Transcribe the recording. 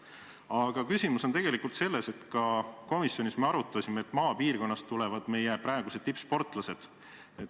Aga küsimus on tegelikult selles, et me ka komisjonis arutasime, et just maapiirkondadest tulevad meie praegused tippsportlased.